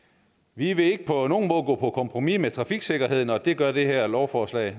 vi vil ikke på nogen måde gå på kompromis med trafiksikkerheden og det gør det her lovforslag